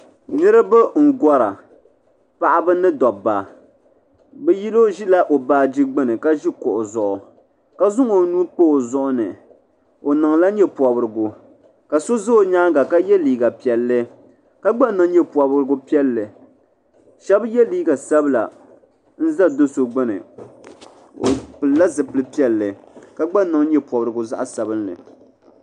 Niriba n gora paɣaba ni dobba bɛ yino ʒi la o baaji gbini kuɣu zuɣu ka zaŋ o nuu pa o zuɣu ni o niŋla nyɛ'pobrigu ka so za o nyaanga ka ye liiga piɛlli ka gba niŋ nyɛ'pobrigu piɛlli sheba ye liiga sabla n za do'so gbini o pilila zipil'piɛlli ka gba niŋ nyɛ'pobrigu zaɣa sabinli.